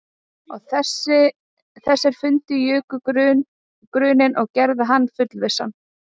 Og þessir fundir juku gruninn og gerðu hann að fullvissu